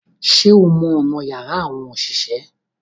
Ṣé o mọ ọ̀nà yàrá àwọn òṣìṣẹ́?